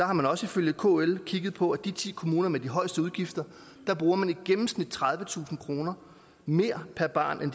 har man også ifølge kl kigget på og i de ti kommuner med de højeste udgifter bruger man i gennemsnit tredivetusind kroner mere per barn end